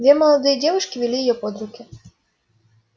две молодые девушки вели её под руки